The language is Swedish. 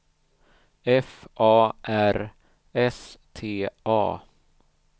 F A R S T A